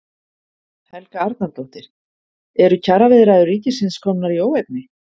Helga Arnardóttir: Eru kjaraviðræður ríkisins komnar í óefni?